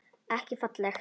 Ekki falleg.